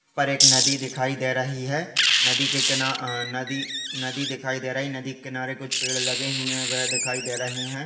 पर एक नदी दिखाई दे रही है नदी के किनारे अ नदी नदी दिखाई दे रही है नदी के किनारे कुछ पेड़ लगे हुए दिखाई दे रहे है।